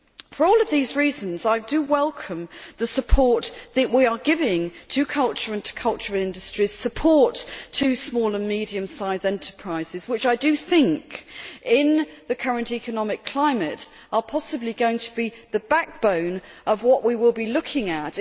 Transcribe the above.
For all of these reasons, I welcome the support that we are giving to culture and to cultural industries, support to small and medium enterprises, which I think in the current economic climate are possibly going to be the backbone of what we will be looking at.